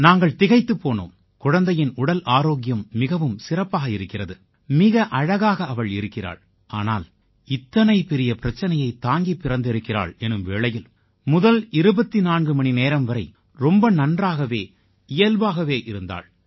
நாங்கள் திகைத்துப் போனோம் குழந்தையின் உடல் ஆரோக்கியம் மிகவும் சிறப்பாக இருக்கிறது மிக அழகாக அவள் இருக்கிறாள் ஆனால் இத்தனை பெரிய பிரச்சினையைத் தாங்கிப் பிறந்திருக்கிறாள் எனும் வேளையில் முதல் 24 மணி நேரம் வரை ரொம்ப நன்றாகவே இயல்பாகவே இருந்தாள்